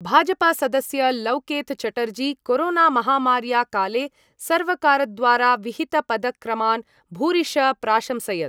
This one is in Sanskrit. भाजपासदस्य लौकेतचटर्जी कोरोनामहामार्या काले सर्वकारद्वारा विहितपदक्रमान् भूरिश प्राशंसयत्।